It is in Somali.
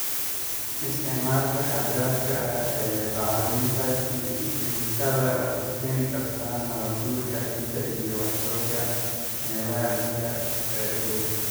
Isticmaalka xad dhaafka ah ee bacriminta kiimikada waxay keeni kartaa nabaad-guurka ciidda iyo wasakhowga meelaha biyaha ee u dhow.